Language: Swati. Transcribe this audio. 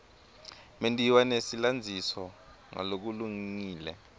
mentiwa nesilandziso ngalokulungile